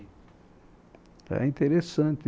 Era interessante.